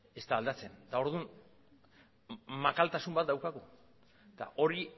ez da aldatzen orduan makaltasun bat daukagu eta hori